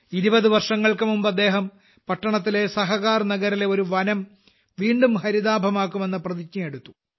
20 വർഷങ്ങൾക്കുമുമ്പ് അദ്ദേഹം പട്ടണത്തിലെ സഹകാർനഗറിലെ ഒരു വനം വീണ്ടും ഹരിതാഭമാക്കുമെന്ന പ്രതിജ്ഞയെടുത്തു